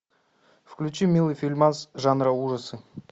включи милый фильмас жанра ужасы